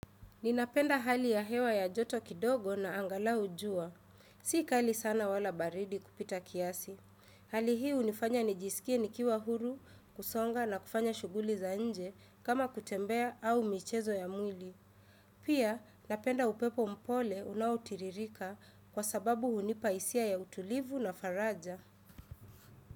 Ninapenda hali ya hewa ya joto kidogo na angalau jua. Sika kali sana wala baridi kupita kiasi. Hali hii unifanya nijisikie nikiwa huru, kusonga na kufanya shughuli za nje kama kutembea au michezo ya mwili. Pia napenda upepo mpole unautiririka kwa sababu hunipa hisia ya utulivu na faraja.